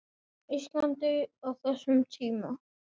Íslandi á þessum tíma.